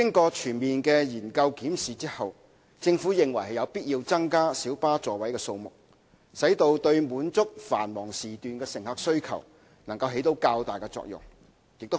經全面研究檢視後，政府認為有必要增加小巴座位數目，使之對滿足繁忙時段乘客需求方面，能夠發揮較大作用。